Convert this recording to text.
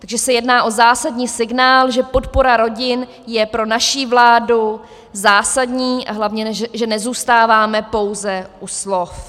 Takže se jedná o zásadní signál, že podpora rodin je pro naši vládu zásadní a hlavně že nezůstáváme pouze u slov.